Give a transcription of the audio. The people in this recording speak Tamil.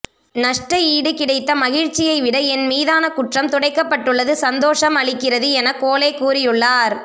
நஷ்ட ஈடு கிடைத்த மகிழ்ச்சியை விட என் மீதான குற்றம் துடைக்கப்பட்டுள்ளது சந்தோசம் அளிக்கிறது என்று கோலே கூறியுள்ளார்